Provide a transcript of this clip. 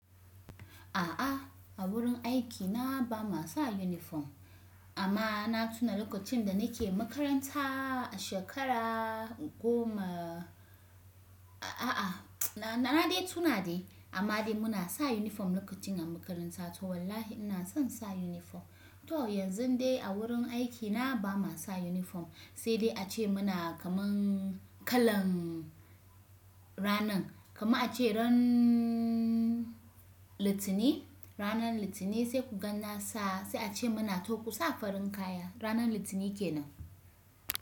A'a a wurin aiki na bama sa uniform amma na tuna lokacin da nake makaranta a shekara goma a'a na na dai tuna dai amma dai muna sa uniform lokacin a makaranta to wallahi ina son sa uniform. To yanzu dai a wurin aiki na bama sa uniform sai dai ace muna kaman kalan ranan kama ace ran litini ranan litini sai ku ganna sa sai ace muna to ku sa farin kaya ranan litini kenan.